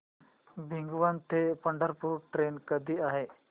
भिगवण ते पंढरपूर ट्रेन कधी आहे